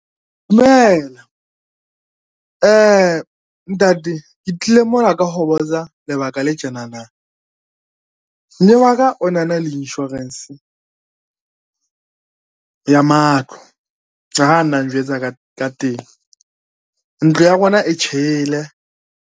Dumela. Ntate ke tlile mona ka ho botsa lebaka le tjenana. Mme wa ka o na na le insurance ya matlo ska ha na njwetsa ka teng, ntlo ya rona e tjhele.